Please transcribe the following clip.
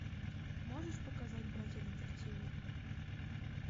можешь показать братья детективы